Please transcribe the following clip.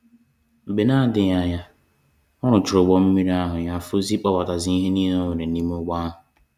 Mgbe na adịghị anya, ọ rụchara ụgbọ mmiri ahụ ya fọzie ị kpọbatazi ihe nile o nwere n'ime ụgbọ a.